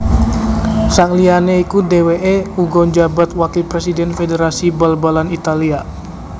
Sakliyane iku dheweke uga njabat wakil presiden Federasi Bal balan Italia